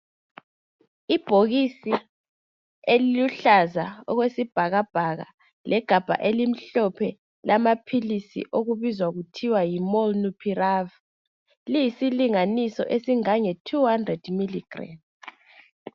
ibhokisi eliluhlaza okwesibhakabhaka legabha elimhlophe lamaphilisi elibizwa kuthiwa yi Molnulpirav liyisilinganiso esingange 200 mg